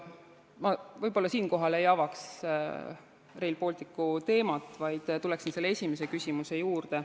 Ma siinkohal võib-olla ei avaks Rail Balticu teemat, vaid tulen esimese küsimuse juurde.